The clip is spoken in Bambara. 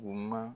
U ma